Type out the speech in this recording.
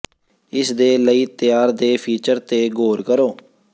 ਇਸ ਦੇ ਲਈ ਤਿਆਰ ਦੇ ਫੀਚਰ ਤੇ ਗੌਰ ਕਰੋ